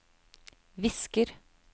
visker